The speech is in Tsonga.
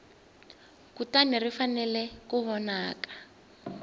kutani ri fanele ku vonaka